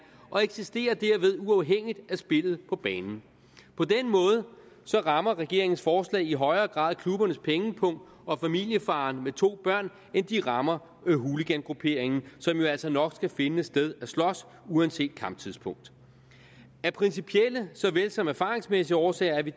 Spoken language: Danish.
og eksisterer derved uafhængigt af spillet på banen på den måde rammer regeringens forslag i højere grad klubbernes pengepung og familiefaren med to børn end de rammer hooligangrupperingen som nok skal finde et sted at slås uanset kamptidspunkt af principielle såvel som erfaringsmæssige årsager er vi